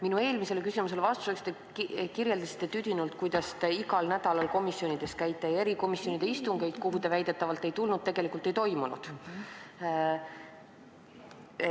Minu eelmisele küsimusele vastates kirjeldasite tüdinult, kuidas te igal nädalal komisjonides käite ja et erikomisjonide istungeid, kuhu te väidetavalt ei tulnud, tegelikult ei toimunud.